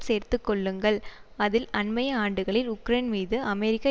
சேர்த்துக்கொள்ளுங்கள் அதில் அண்மைய ஆண்டுகளில் உக்ரைன் மீது அமெரிக்கா